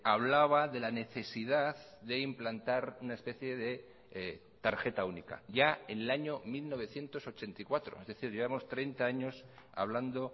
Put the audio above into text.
hablaba de la necesidad de implantar una especie de tarjeta única ya en el año mil novecientos ochenta y cuatro es decir llevamos treinta años hablando